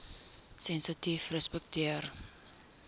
sensitiefrespekteer